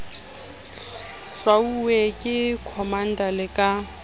hlwauwe ke commander le ka